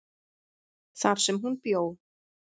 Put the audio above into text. þar sem hún bjó.